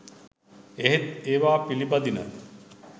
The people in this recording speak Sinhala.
එහෙත් ඒවා පිළිපදින